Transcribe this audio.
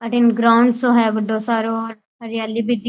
अठीन ग्राउंड सो है बड़ो सारो हरियाली भी दीक --